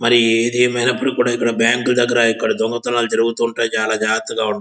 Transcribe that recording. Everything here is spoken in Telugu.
మరి ఇది ఏది ఐనాపుటికి బ్యాంకు దగ్గర దొంగతనాలు జరుగుతుంటాయి. చాలా జాగ్రత్తగా ఉండాలి.